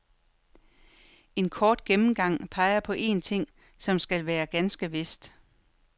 En kort gennemgang peger på en ting, som skal være ganske vist.